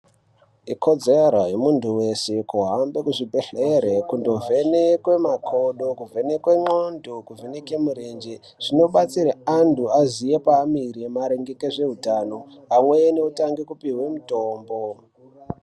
Ikodzero yemunthu weshe kuhambe kuzvibhedhlere kundovhenekwe makodo, kuvheneke ndxondo, kuvheneke murenje zvimpbetsere anthu aziye paamire maringe ngezveutano amweni otange kupuwa mutombo.